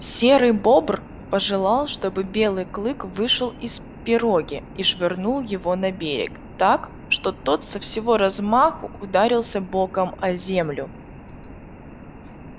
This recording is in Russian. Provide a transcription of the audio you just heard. серый бобр пожелал чтобы белый клык вышел из пироги и швырнул его на берег так что тот со всего размаху ударился боком о землю